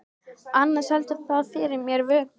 Annars heldur það fyrir mér vöku.